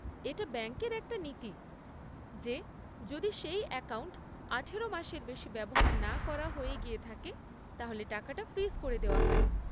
এটা ব্যাঙ্কের একটা নীতি, যে যদি সেই অ্যাকাউন্ট আঠারো মাসের বেশি ব্যবহার না করা হয়ে গিয়ে থাকে তাহলে টাকাটা ফ্রিজ করে দেওয়া হয়।